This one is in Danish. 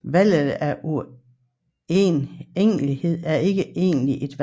Valget af uegentligheden er ikke egentlig et valg